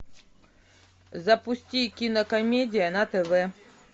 запусти кинокомедия на тв